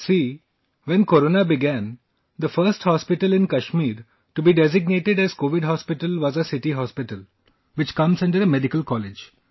See, when Corona began, the first hospital in Kashmir to be designated as Covid Hospital was our City Hospital, which comes under a medical college